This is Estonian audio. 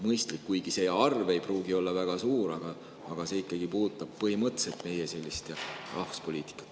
Kuigi arv ei pruugi olla väga suur, aga see puudutab ikkagi põhimõtteliselt meie rahvuspoliitikat.